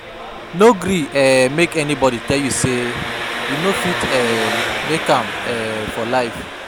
No gree um make anybodi tell you sey you no fit um make am um for life.